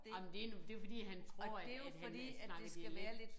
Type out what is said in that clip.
Ej men det det jo fordi han tror at at han snakker dialekt